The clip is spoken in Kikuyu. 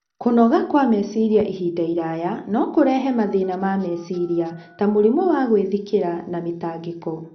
Kũnoga kwa meciria ihinda iraya no kũrehe mathĩna ma meciria, ta mũrimũ wa gwĩthikĩra na mĩtangĩko.